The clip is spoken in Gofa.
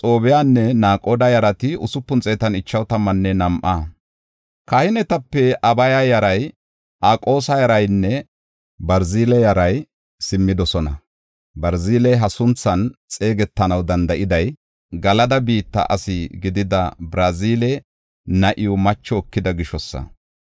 Kahinetape Abaya yaray, Aqoosa yaraynne Barzile yaray simmidosona. Barziley ha sunthan xeegetanaw danda7iday Galada biitta asi gidida Barzile na7iw macho ekida gishosa.